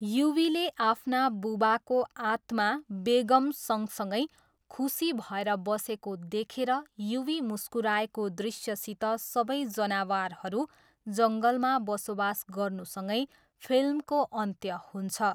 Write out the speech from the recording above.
युवीले आफ्ना बुबाको आत्मा बेगम सँगसँगै खुसी भएर बसेको देखेर युवी मुस्कुराएको दृश्यसित सबै जनावरहरू जङ्गलमा बसोबास गर्नुसँगै फिल्मको अन्त्य हुँन्छ।